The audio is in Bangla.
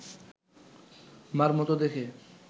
মার মতো দেখে